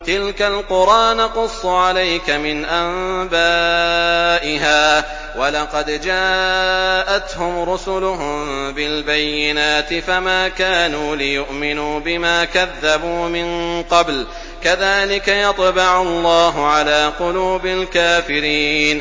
تِلْكَ الْقُرَىٰ نَقُصُّ عَلَيْكَ مِنْ أَنبَائِهَا ۚ وَلَقَدْ جَاءَتْهُمْ رُسُلُهُم بِالْبَيِّنَاتِ فَمَا كَانُوا لِيُؤْمِنُوا بِمَا كَذَّبُوا مِن قَبْلُ ۚ كَذَٰلِكَ يَطْبَعُ اللَّهُ عَلَىٰ قُلُوبِ الْكَافِرِينَ